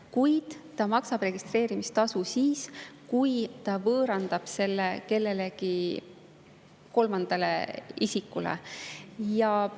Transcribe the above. Kuid ta maksab registreerimistasu siis, kui ta võõrandab selle kellelegi kolmandale isikule.